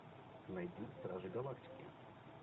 найди стражи галактики